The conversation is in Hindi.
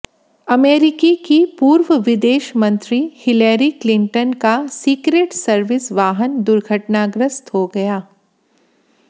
अमेरिकी की पूर्व विदेश मंत्री हिलेरी क्लिंटन का सीक्रेट सर्विस वाहन दुर्घटनाग्रस्त हो गया